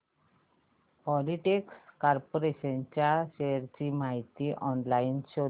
Polyplex corporation च्या shares ची माहिती ऑनलाइन शोध